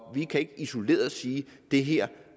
vi kan ikke isoleret sige at det her